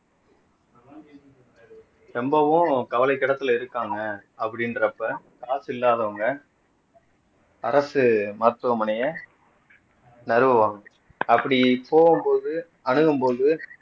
சம்பவம் கவலைக்கிடத்துல இருக்காங்க அப்படின்றப்ப காசு இல்லாதவங்க அரசு மருத்துவமனையை நறுவாங்க அப்படி போகும்போது அணுகும்போது